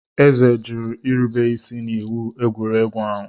Eze jụrụ irube isi n'iwu egwuregwu ahụ.